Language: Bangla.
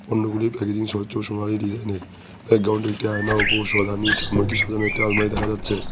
পণ্যগুলির প্যাকেজিং স্বচ্ছ সোনালী ডিজাইন এর ব্যাকগ্রাউন্ডে -এ একটি আয়না ও সামনে একটি আলমারি দেখা যাচ্ছে।